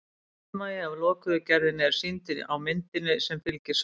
sundmagi af lokuðu gerðinni er sýndur á myndinni sem fylgir svarinu